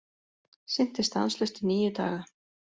Synti stanslaust í níu daga